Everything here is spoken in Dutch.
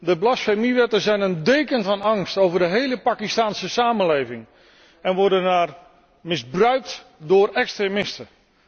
De blasfemiewetten zijn een deken van angst over de hele Pakistaanse samenleving en worden daar misbruikt door extremisten.